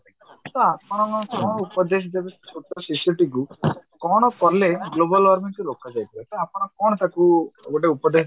ତ ଆପଣ କଣ ଉପଦେଶ ଦେବେ ସେ ଛୋଟ ଶିଶୁଟିକୁ କଣ କଲେ global warming କୁ ରୋକାଯାଇପାରିବ ତ ଆପଣ କଣ ତାକୁ ଗୋଟେ ଉପଦେଶ